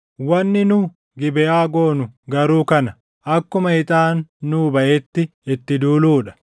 Wanni nu Gibeʼaa goonu garuu kana: Akkuma ixaan nuu baʼetti itti duuluu dha.